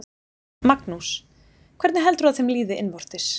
Magnús: Hvernig heldurðu að þeim líði innvortis?